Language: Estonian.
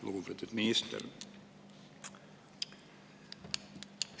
Lugupeetud minister!